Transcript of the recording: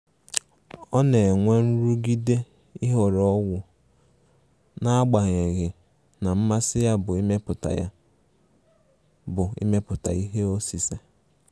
Ọ na-enwe nrụgide ịhọrọ ọgwụ, n'agbanyeghi na mmasi ya bụ imepụta ya bụ imepụta ihe osise.